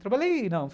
Trabalhei, não.